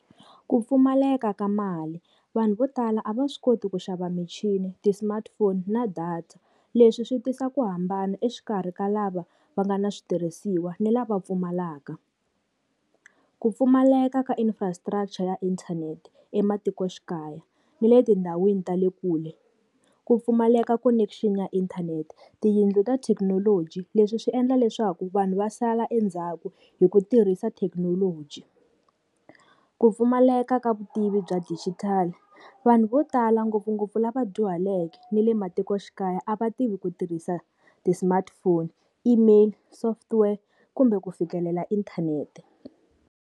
Ku pfumaleka ka mali, vanhu vo tala a va swi koti ku xava michini ti-smartphone na data. Leswi swi tisa ku hambana exikarhi ka lava va nga na switirhisiwa ni lava pfumalaka. Ku pfumaleka ka infrastructure ya inthanete ematikoxikaya ni le tindhawini ta le kule. Ku pfumaleka connection ya inthanete, tiyindlu ta thekinoloji leswi swi endla leswaku vanhu va sala endzhaku hi ku tirhisa thekinoloji. Ku pfumaleka ka vutivi bya digital, vanhu vo tala ngopfungopfu lava dyuhaleke ni le matikoxikaya a va tivi ku tirhisa ti-smartphone, email, software kumbe ku fikelela inthanete.